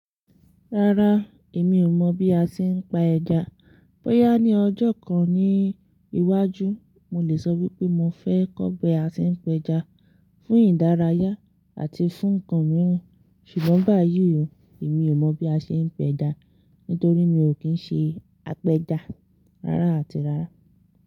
Rárá, èmi ò mọ̀ bí a ti ń pa ẹja. Bóyá ní ọjọ́ kan ní iwájú, mo lè sọ wípé mo fẹ́ kọ́ bi a tí ń pẹja fún ìdárayá àti fún ǹnkan mìíràn. Ṣùgbọ́n, bá yí, èmi ò mọ̀ bí a ṣe ń pẹja nítorí mi ò kí ń ṣe apẹja rárá àti rárá.